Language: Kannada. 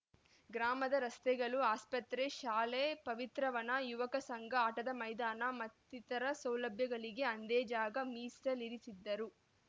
ಗ್ರಾಮದ ರಸ್ತೆಗಳು ಆಸ್ಪತ್ರೆ ಶಾಲೆ ಪವಿತ್ರವನ ಯುವಕ ಸಂಘ ಆಟದ ಮೈದಾನ ಮತ್ತಿತರ ಸೌಲಭ್ಯಗಳಿಗೆ ಅಂದೇ ಜಾಗ ಮೀಸಲಿರಿಸಿದ್ದರು